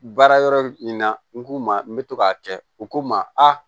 Baara yɔrɔ in na n k'u ma n bɛ to k'a kɛ u ko n ma a